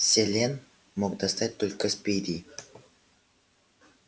селен мог достать только спиди